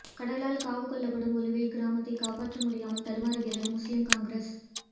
கடலால் காவு கொள்ளப்படும் ஒலுவில் கிராமத்தை காப்பாற்ற முடியாமல் தடுமாறுகிறது முஸ்லீம் காங்கிரஸ்